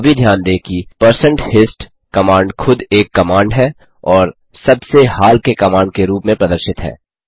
यह भी ध्यान दें कि160hist कमांड खुद एक कमांड है और सबसे हाल के कमांड के रूप में प्रदर्शित है